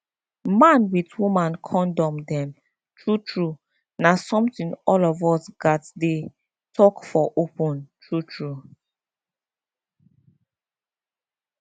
man with woman condom dem true true na something all of us gats dey talk for open true true